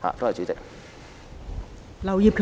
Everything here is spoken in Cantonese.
代理主席，綜合局